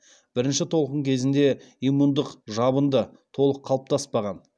бірінші толқын кезінде имундық жабынды толық қалыптаспаған